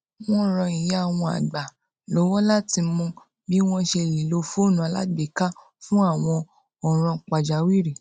wón ran ìyá wọn àgbà lówó láti mọ bí wón ṣe lè lo fóònù alágbèéká fún àwọn òràn pàjáwìrì